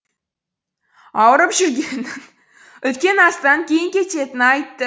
ауырып жүргенін үлкен астан кейін кететінін айтты